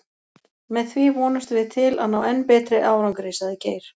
Með því vonumst við til að ná enn betri árangri, sagði Geir.